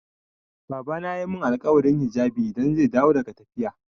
Babana ya mun alkawarin hijabi idan zai dawo daga tafiya.